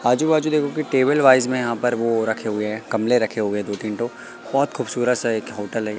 आजू बाजू देखो की टेबल वाइस में यहां पर वो रखे हुए है गमले रखे हुए दो तीन ठो बहोत खूबसूरत सा एक होटल है।--